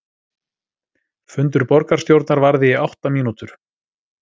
Fundur borgarstjórnar varði í átta mínútur